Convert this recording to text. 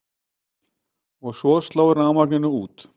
Og svo sló rafmagninu út.